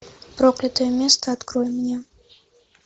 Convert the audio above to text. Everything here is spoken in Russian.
проклятое место открой мне